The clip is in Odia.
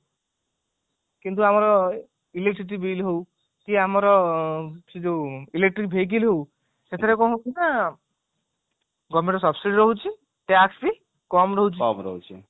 କିନ୍ତୁ ଆମର electricity bill ହଉ କି ଆମର ସେ ଯୋଉ electric vehicle ହଉ ସେଠାରେ କଣ ହଉଛି ନା government ର success ହଉଛି tax ବି କମ ରହୁଛି